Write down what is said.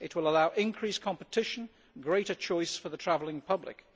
It will allow increased competition, greater choice for the travelling public.